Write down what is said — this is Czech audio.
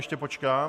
Ještě počkám.